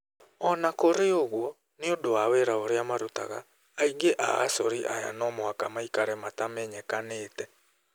O na kũrĩ ũguo, nĩ ũndũ wa wĩra ũrĩa marũtaga, aingĩ a acori aya no mũhaka maikare matamenyekanĩte.